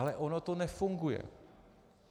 Ale ono to nefunguje.